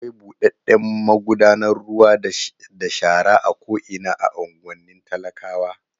Akwai buɗaɗɗen magudanar ruwa da shara a ko'ina a unguwannin talakawa.